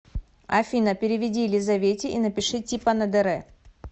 афина переведи елизавете и напиши типа на др